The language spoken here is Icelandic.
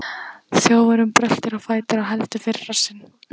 Þjófurinn bröltir á fætur og heldur fyrir rassinn.